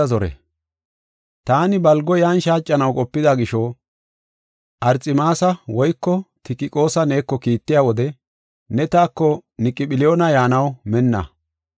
Taani balgo yan shaacanaw qopida gisho, Arxemaasa woyko Tikiqoosa neeko kiittiya wode ne taako Niqophilyoona yaanaw minna.